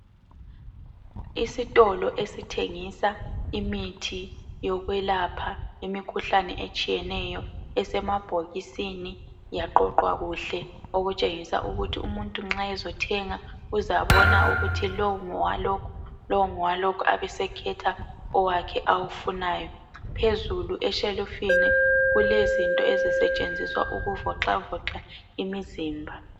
Isitolo esithengisa imithi yokwelapha imikhuhlane etshiyeneyo esemabhokisini yaqoqwa kuhle okutshengisa ukuthi umuntu nxa ezothenga, uzabona ukuthi lowu ngowalokhu, lowu ngowalokhu, abesekhetha owakhe awufunayo. Phezulu eshelufini, kulezinto ezisetshenziswa ukuvoxavoxa imizimba.